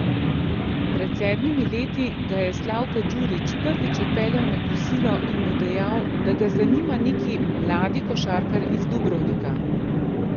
Pred sedmimi leti ga je Slavko Djurić prvič odpeljal na kosilo in mu dejal, da ga zanima neki mladi košarkar iz Dubrovnika.